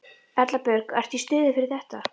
Erla Björg: Ertu í stuði fyrir þetta?